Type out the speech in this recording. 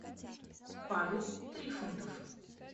павел трифонтов